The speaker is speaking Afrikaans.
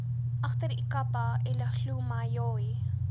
agter ikapa elihlumayoi